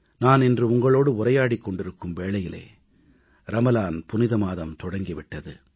நான் இன்று உங்களோடு உரையாடிக் கொண்டிருக்கும் வேளையிலே ரமலான் புனித மாதம் தொடங்கி விட்டது